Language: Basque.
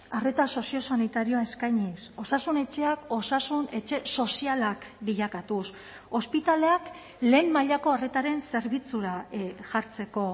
arreta soziosanitarioa eskainiz osasun etxeak osasun etxe sozialak bilakatuz ospitaleak lehen mailako arretaren zerbitzura jartzeko